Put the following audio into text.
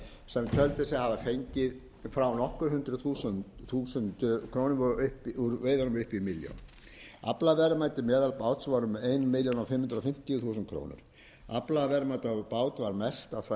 sem töldu sig hafa fengið frá nokkur hundruð þúsund krónum úr veiðunum upp í milljón aflaverðmæti meðalbáts voru um fimmtán hundruð fimmtíu þúsund króna aflaverðmæti á bát var mest á svæði c eða tvö komma tveimur milljónum